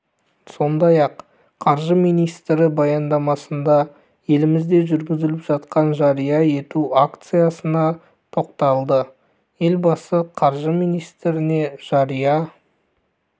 сондай ақ қаржы министрі баяндамасында елімізде жүргізіліп жатқан жария ету акциясына тоқталды елбасы қаржы министріне жария